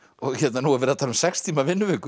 nú er verið að tala um sex tíma vinnudag